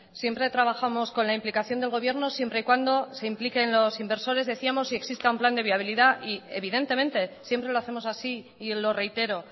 siempre trabajamos con la implicación del gobierno siempre y cuando se impliquen los inversores decíamos y exista un plan de viabilidad y evidentemente siempre lo hacemos así y lo reitero